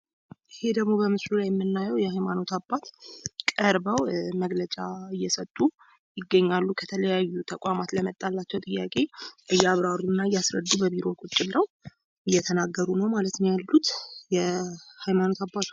ይሄ ደግሞ በምስሉ ላይ የምናየው የሃይማኖት አባት ቀርበው መግለጫ እየሰጡ ይገኛሉ። ከተለያዩ ተቋማት ለመጣላቸው ጥያቄ እያብራሩ እና እያስረዱ በቢሮ ቁጭ ብለው እየተናገሩ ነው ማለት ነው ያሉት። የሃይማኖት አባት ናቸዉ።